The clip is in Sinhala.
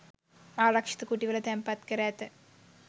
ආරක්‍ෂිත කුටිවල තැන්පත් කර ඇත.